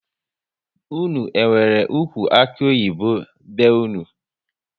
Unu enwere ụkwụ akuoyibo be unu?